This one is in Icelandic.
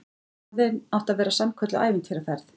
Ferðin átti að verða sannkölluð ævintýraferð